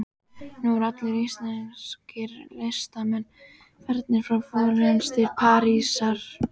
Nú eru allir íslenskir listamenn farnir frá Flórens til Parísar.